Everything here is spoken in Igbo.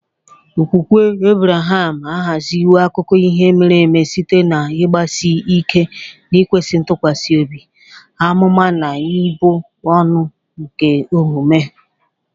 Okwukwe Ebreham ahaziwo akụkọ ihe mere eme site n'ịgbasi ike n'ịkwesị ntụkwasị obi, amụma, na ibu ọrụ nke omume.